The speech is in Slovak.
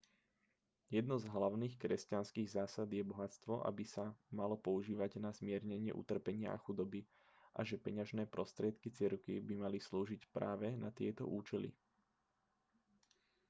jednou z hlavných kresťanských zásad je že bohatstvo by sa malo používať na zmiernenie utrpenia a chudoby a že peňažné prostriedky cirkvi by mali slúžiť práve na tieto účely